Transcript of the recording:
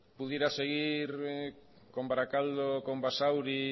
pudiera seguir con barakaldo con basauri